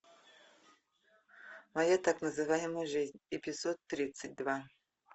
моя так называемая жизнь эпизод тридцать два